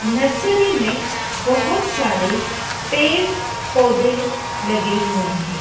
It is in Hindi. नर्सरी में बहोत सारे पेड़ पौधे लगे हुए हैं।